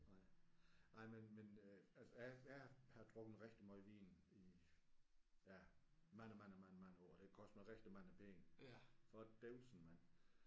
Nej nej men men øh altså jeg har jeg har drukket rigtig meget vin i ja mange mange mange mange år det har kostet mig rigtig mange penge for dævsen mand